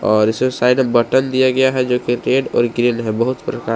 और इसमें साइड में बटन दिया गया है जो की रेड और ग्रीन है बहोत प्रकार --